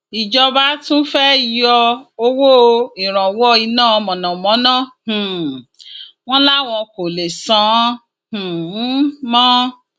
ìjọba tún fẹẹ yọ owó ìrànwọ iná mọnàmọná um wọn láwọn kò lè san án um mọ